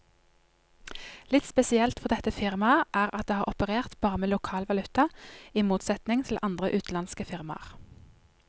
Litt spesielt for dette firmaet er at det har operert bare med lokal valuta, i motsetning til andre utenlandske firmaer.